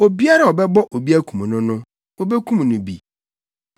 “Obiara a ɔbɛbɔ obi akum no no, wobekum no bi.